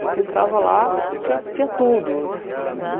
Você entrava lá, tinha tinha tudo.